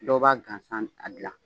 Dɔw b'a gansan a dilan